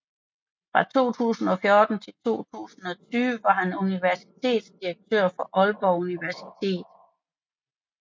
Fra 2014 til 2020 var han universitetsdirektør for Aalborg Universitet